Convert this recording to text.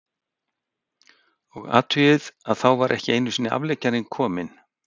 Og athugið að þá var ekki einusinni afleggjarinn kominn, skýtur